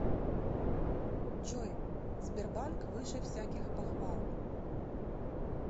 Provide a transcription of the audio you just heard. джой сбербанк выше всяких похвал